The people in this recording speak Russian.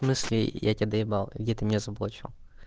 в смысле я тебя доебал где ты меня заблочил